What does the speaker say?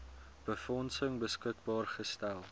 befondsing beskikbaar gestel